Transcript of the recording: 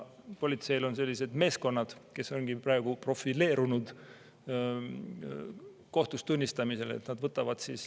Politseil on sellised meeskonnad, kes ongi praegu profileerunud kohtus tunnistamisele.